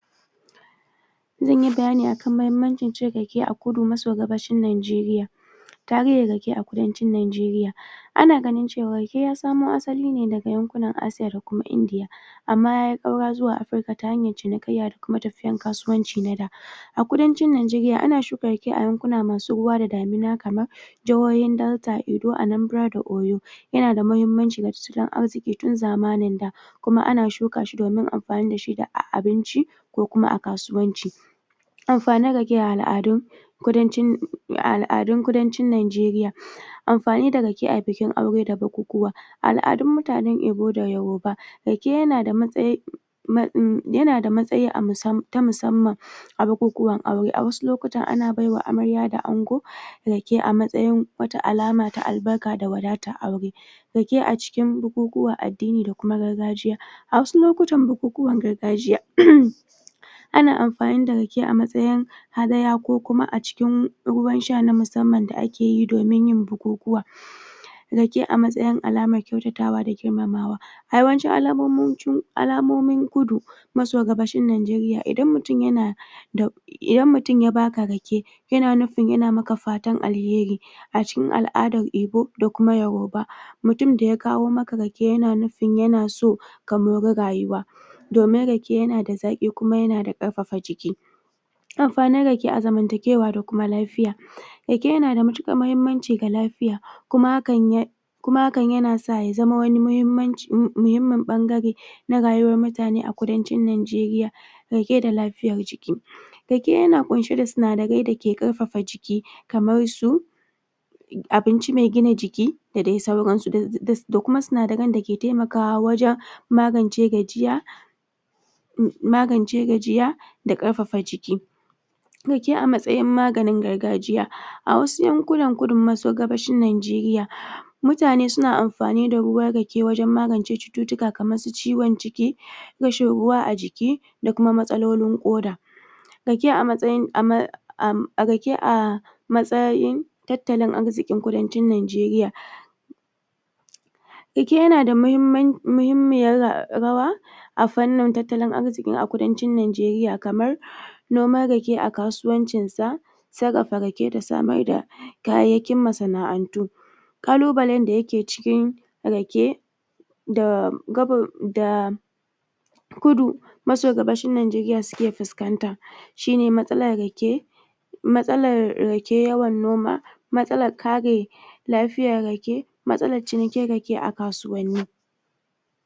Zan yi bayani a kan muhimmancin cin rake a Kudu maso Gabashin Najeriya. Tarihin rake a Kudancin Najeriya Ana ganin cewa rake ya samo asali ne daga yankunan Aaiya da kuma Indiya. Amma ya yi ƙaura zuwa Afirka ta hanyar cinikayya da kuma tafiyar kasuwanci na da. A Kudancin Najeriya, ana shuka rake a yankuna masu ruwa da damina, kamar jihohin Delta, Anambra da Oyo. Yana da muhimmanci ga tattalin arziki tun zamanin da. Kuma ana shuka shi domin amfani da shi a abinci da ko kuma a kasuwanci. Amfanin rake a al'adun Kudancin Najeriya. Amfani da rake a bikin aure da bukukuwa. Al'adun mutanen Ibo da Yoruba: Rake yana da matsayi na musamman a bukukuwan aure. A wasu lokutan ana bai wa amarya da ango rake a matsayin wata alama ta albarka da wadatar aure. Rake a cikin bukukuwan addini da kuma gargajiya A wasu lokutan bukukuwan gargajiya, Ana amfani da rake a matsayin hadaya ko kuma a cikin ruwan sha na musamman da ake yi domin yin bukukuwa Rake a matsayin alamar kyautatawa da girmamawa: A yawancin alamomin Kudu maso Gabashin Najeriya, idan mutum yana idan mutum ya ba ka rake yana nufin yana maka fatan alheri A cikin al'adan Ibo da kuma Yoruba, mutumin da ya kawo maka rake, yana nufin yana so ka mori rayuwa. domin rake yana zaƙi kuma yana da ƙarƙafa jiki. Amfanin rake a zamantakewa da kuma lafiya: Rake yana da matuƙar muhimmanci ga lafiya kuma hakan ya sa ya zama wani muhummin ɓangare na rayuwar mutane a Kudancin Najeriya, rake da lafiyar jiki. Rake yana ƙunshe da sinadarai da ke ƙarfafa jiki, kamar su abinci mai gina jiki da dai sauransu. Da kuma sinadaran da ke taimakawa wajen magance gajiya magance gajiya da ƙarfafa jiki Rake a matsayin maganin gargajiya: A wasu yankunan Kudu maso Gabashin Najeriya, mutane suna amfani da ruwan rake wajen magance cututtuka kamar su ciwon ciki rashin ruwa a jiki da kuma matsalolin ƙoda Rake a matsayin tattalin arzikin Kudancin Najeriya: Rake yana da muhimmiyar rawa a fannin tattalin arziki a Kudancin Najeriya kamar, noman rake a kasuwancinsa sarrafa rake da samar da kayayyakin masana'antu. Ƙalubalen da ke cikin rake: da Kudu maso Gabashin Najeriya suke fuskanta shi ne matsalar rake matsalar rake yawan noma, matsalar kare lafiyar rake, matsalar cinikin rake kasuwanni